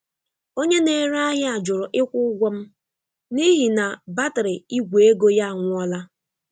Onye na-ere ahịa jụrụ ịkwụ ụgwọ m n'ihi na batrị Igwe ego ya anwụọla.